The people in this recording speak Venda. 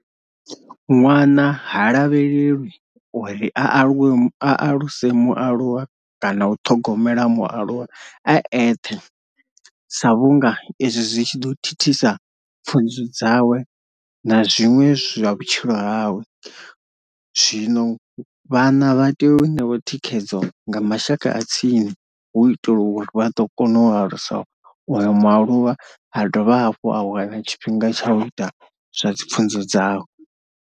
Ṅwana ha lavhelelwa uri a aluwe a aluse mualuwa kana u ṱhogomela mualuwa a eṱhe sa vhunga izwi zwi tshi ḓo thithisa pfhunzo dzawe na zwiṅwe zwa vhutshilo hawe, zwino vhana vha tea u newa thikhedzo nga mashaka a tsini hu u itela uri vha a ḓo kona u alusa uyo mualuwa ha dovha hafhu a wana tshifhinga tsha u ita zwa pfhunzo dzawe.